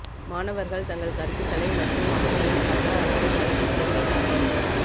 மாணவர்கள் தங்கள் கருத்துக்களை மற்றும் அவர்களின் பக்க அல்லது கருத்தை தெரிவிக்கட்டும்